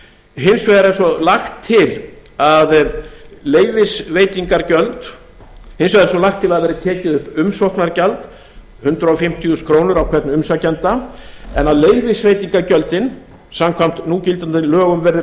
hins vegar er svo lagt til að það verði tekið upp umsóknargjald hundrað fimmtíu þúsund krónur á hvern umsækjanda en að leyfisveitingargjöldin samkvæmt núgildandi lögum verði